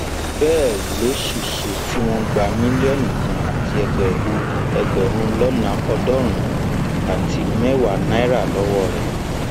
àmọ ṣá ọpàlọlá sọ pé um muideen yóò fojú balẹẹjọ ní kété tí ìwádìí bá ti parí lórí ọrọ um rẹ